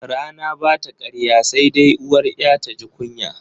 Rana bata karya sai dai uwar 'ya taji kunya.